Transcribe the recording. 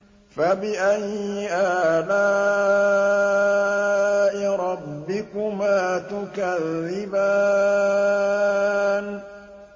فَبِأَيِّ آلَاءِ رَبِّكُمَا تُكَذِّبَانِ